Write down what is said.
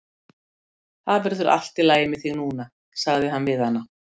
Það verður allt í lagi með þig núna sagði hann við hana.